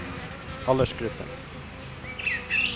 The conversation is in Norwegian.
aldersgruppen